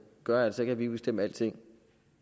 gør altså ikke at vi kan bestemme alting